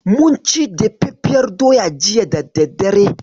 Mun ci dafaffiyar doya jiya da daddare.